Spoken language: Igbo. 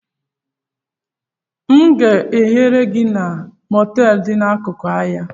M ga ehere gị na moteelu dị n'akụkụ ahịa?